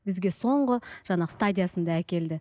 бізге соңғы жаңағы стадиясында әкелді